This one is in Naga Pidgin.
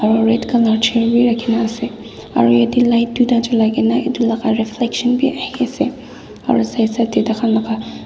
aru red colour chair gi rekhina ase aru yate light duita julai na etu laga reflection vi ahi ase aru side side tae tai khan laga.